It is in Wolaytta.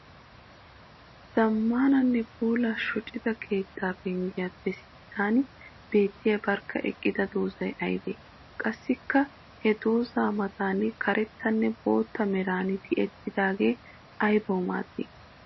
Zamaananne puula shuchcha keetta penggiyappe sinttan beettiya barkka eqqida doozay aybbe? Qassikka he dooza matan karettanne bootta meran tiyettidaage aybbawu maadi?